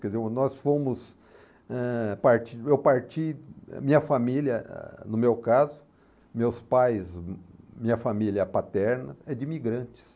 Quer dizer, nós fomos eh... parti, eu parti, minha família, no meu caso, meus pais, minha família paterna é de imigrantes.